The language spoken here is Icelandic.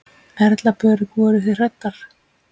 Erla Björg: Voruð þið hræddar?